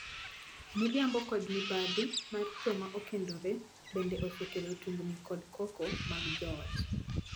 Miriambo kod mibadhi mar joma okendore bende osekelo tungni kod koko mag joot.